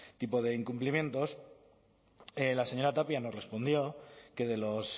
tipo de incumplimientos la señora tapia nos respondió que de los